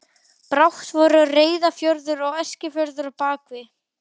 Brátt voru Reyðarfjörður og Eskifjörður að baki.